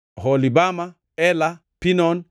Oholibama, Ela, Pinon